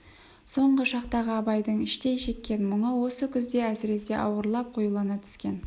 соңғы шақтағы абайдың іштей шеккен мұңы осы күзде әсіресе ауырлап қоюлана түскен